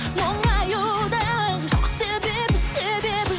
мұңаюдың жоқ себебі себебі жоқ